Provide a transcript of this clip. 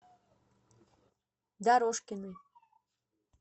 дорожкиной